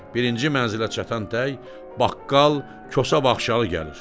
Birinci mənzilə çatan tək baqqal Kosa Baxşalı gəlir.